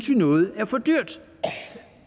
noget er for dyrt